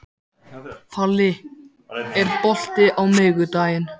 Palli, er bolti á miðvikudaginn?